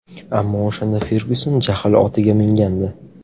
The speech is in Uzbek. Ammo o‘shanda Fergyuson jahl otiga mingandi.